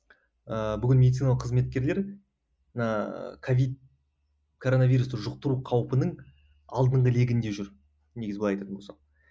ыыы бүгін медициналық қызметкерлер ыыы ковид короновирусты жұқтыру қаупінің алдыңғы легінде жүр негізі былай айтатын болсақ